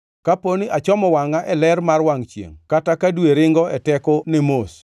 kapo ni ne achomo wangʼa e ler mar wangʼ chiengʼ kata ka dwe ringo e tekone mos,